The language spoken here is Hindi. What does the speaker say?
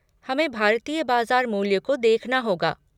हमें भारतीय बाजार मूल्य को देखना होगा।